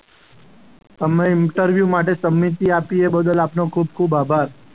અમે ઇન્ટરવ્યૂ માટે તમે જે આપ્યું એ બદલ આપનો ખૂબ ખૂબ આભાર.